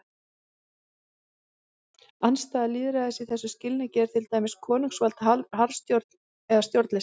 Andstæða lýðræðis í þessum skilningi er til dæmis konungsvald, harðstjórn eða stjórnleysi.